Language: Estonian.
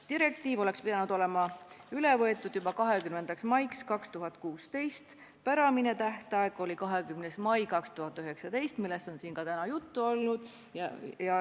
Direktiiv oleks pidanud olema üle võetud juba 20. maiks 2016, päramine tähtaeg oli 20. mai 2019, millest on siin ka täna juttu olnud.